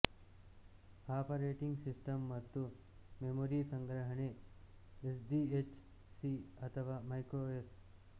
operating system ಮತ್ತು memory ಸಂಗ್ರಹಕೆ S D H C ಅಥವಾ ಮೈಕ್ರೊಎಸ್